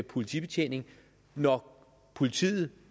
politibetjening når politiet